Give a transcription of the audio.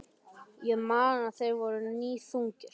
Ég man að þeir voru níðþungir.